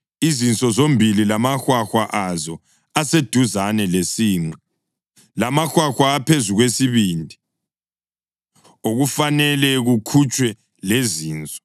izinso zombili lamahwahwa azo aseduzane lesinqe, lamahwahwa aphezu kwesibindi, okufanele kukhutshwe lezinso.